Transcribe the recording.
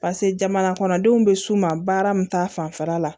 pase jamana kɔnɔdenw be s'u ma baara min ta fanfɛla la